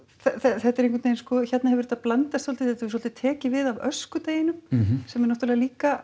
þetta er einhvern veginn hérna hefur þetta blandast svolítið þetta svolítið tekið við af öskudeginum sem er náttúrulega líka